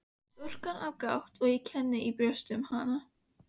Stúlkan á bágt og ég kenni í brjósti um hana.